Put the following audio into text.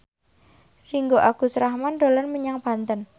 Ringgo Agus Rahman dolan menyang Banten